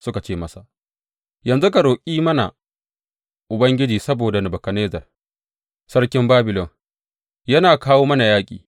Suka ce masa, Yanzu ka roƙi mana Ubangiji saboda Nebukadnezzar sarkin Babilon yana kawo mana yaƙi.